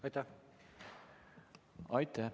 Aitäh!